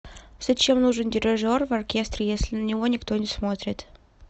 зачем нужен дирижер в оркестре если на него никто не смотрит